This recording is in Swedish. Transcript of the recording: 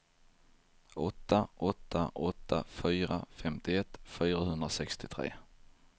åtta åtta åtta fyra femtioett fyrahundrasextiotre